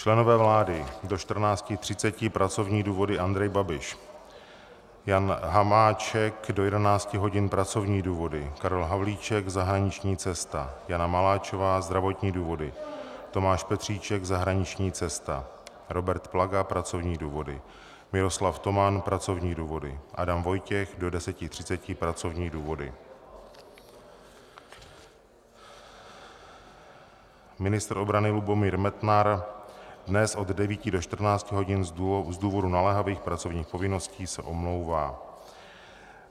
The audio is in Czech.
Členové vlády: do 14.30 pracovní důvody Andrej Babiš, Jan Hamáček do 11 hodin pracovní důvody, Karel Havlíček zahraniční cesta, Jana Maláčová zdravotní důvody, Tomáš Petříček zahraniční cesta, Robert Plaga pracovní důvody, Miroslav Toman pracovní důvody, Adam Vojtěch do 10.30 pracovní důvody, ministr obrany Lubomír Metnar dnes od 9 do 14 hodin z důvodu naléhavých pracovních povinností se omlouvá.